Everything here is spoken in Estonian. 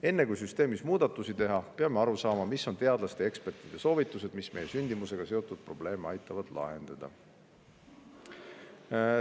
Enne kui süsteemis muudatusi teha, peame aru saama, millised on teadlaste ja ekspertide soovitused, mis aitavad meil sündimusega seotud probleeme lahendada.